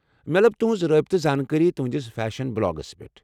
مےٚ لٕب تُہنز رٲبطہٕ زانكٲری تُہندِس فیشن بلاگس پیٹھ ۔